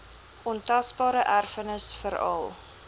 ontasbare erfenis veral